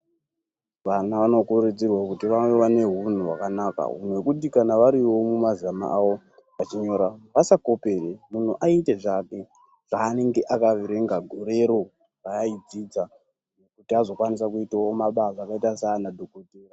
Vana vano kurudzirwa kuti vave vane hunhu hwakanaka hunhu hwekuti kana varivo mumazama avo vachinyora vasakopere. Muntu aite zvake zvanenge akaverenga gorero paaidzidza kuti azokwanise kuitawo mabasa kakaita saa nadhogodhera.